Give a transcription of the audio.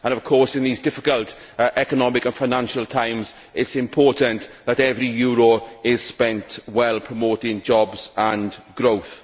Of course, in these difficult economic and financial times, it is important that every euro is spent well on promoting jobs and growth.